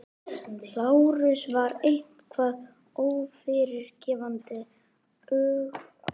Lárusar var eitthvað ófyrirgefanlegt- öfugsnúin erfðasynd sem engin leið var að henda reiður á.